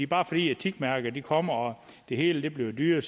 bare fordi etikmærket kommer og det hele bliver dyrere